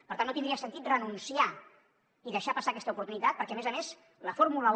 per tant no tindria sentit renunciar i deixar passar aquesta oportunitat perquè a més a més la fórmula un